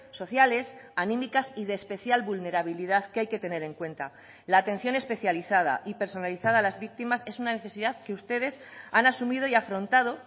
sociales anímicas y de especial vulnerabilidad que hay que tener en cuenta la atención especializada y personalizada a las víctimas es una necesidad que ustedes han asumido y afrontado